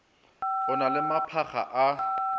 e na le maphakga a